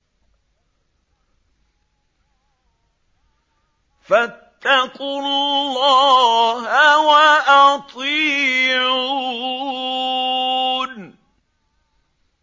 فَاتَّقُوا اللَّهَ وَأَطِيعُونِ